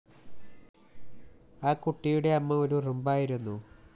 ആ കുട്ടിയുടെ അമ്മ ഒരുറുമ്പായിരുന്നു